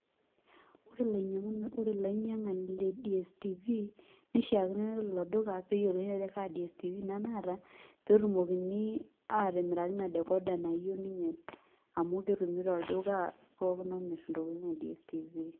Ore ilainyang'ani le DSTv, nishaakino nelo ilo duka, peyiolouni ajo kaa DSTv ina naata, petumokini atimiraki ina decorder nayieu ninye, amu ketumi tolduka pookin omir intokiting e DSTv.